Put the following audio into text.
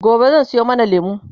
gobe zan Sayo mana lemu